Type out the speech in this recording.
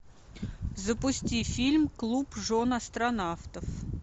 запусти фильм клуб жен астронавтов